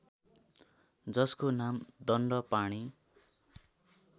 जसको नाम दण्डपाणी